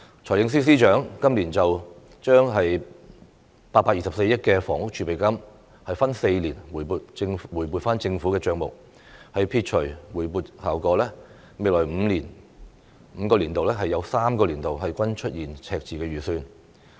財政司司長今年將824億元房屋儲備金分4年回撥政府帳目，撇除回撥效果，未來5個年度有3個年度均出現赤字預算。